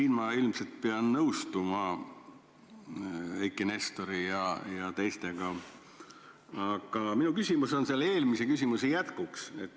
Ma ilmselt pean nõustuma Eiki Nestori ja teistega, aga minu küsimus on minu eelmise küsimuse jätk.